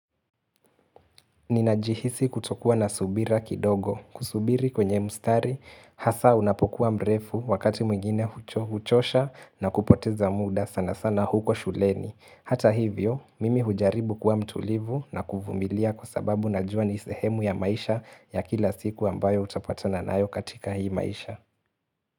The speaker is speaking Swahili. Ninajihisi kutokua na subira kidogo, kusubiri kwenye mstari, hasa unapokuwa mrefu wakati mwingine hucho huchosha na kupoteza muda sana sana huko shuleni. Hata hivyo, mimi hujaribu kwa mtulivu na kuvumilia kwa sababu najua nisehemu ya maisha ya kila siku ambayo utapata nayo katika hii maisha.